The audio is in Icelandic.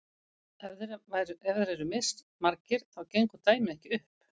ef þeir eru mismargir þá gengur dæmið ekki upp